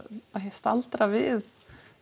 staldra við